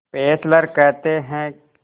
Fessler कहते हैं